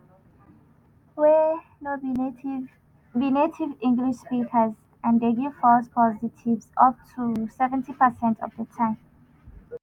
wey no be native be native english speakers and dey give false positives up to seventy percent of di time.